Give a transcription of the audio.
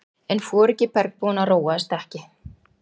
En foringi bergbúanna róaðist ekki.